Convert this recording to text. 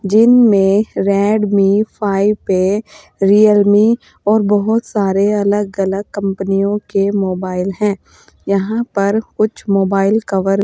जिन में Redmi five A Realme और बहुत सारे अलग अलग कंपनियों के मोबाइल हैं यहां पर कुछ मोबाइल कवर --